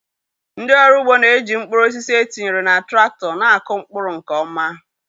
ndị ọrụ ugbo na-eji mkpuru osisi etinyere na traktọ na-akụ mkpụrụ nke ọma.